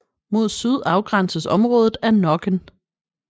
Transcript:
Mod syd afgrænses området af Nokken